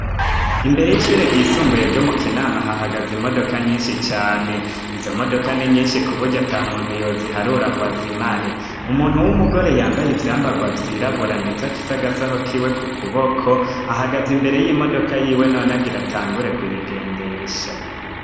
imbere y'ishure ryisumbuye ryo mu kinama hahagaze imodoka nyinshi cane izo modoka ni nyinshi kubuga ata muntu yo ziharura ngwa zimare umuntu w'umugore yambaye ivyambagwa vyirabura ndetse afise agasaho kiwe ku kuboko ahagaze imbere y'imodoka yiwe none agira atangure kuyigendesha